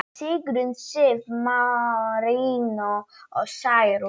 Sigrún Sif, Marinó og Særún.